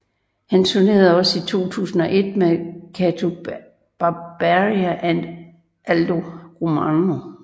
Han tournerede også i 2001 med Gato Barbieri and Aldo Romano